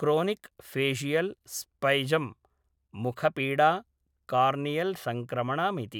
Chronic facial spasm, मुखपीडा, कार्नियल्संक्रमणमिति।